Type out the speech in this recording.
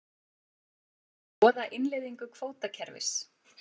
Skoða innleiðingu kvótakerfis